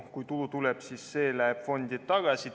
Kui tulu tuleb, siis see läheb fondi tagasi.